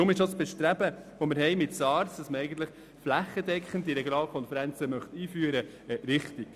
Aus diesem Grund ist das Bestreben von SARZ, flächendeckende Regionalkonferenzen einzuführen, richtig.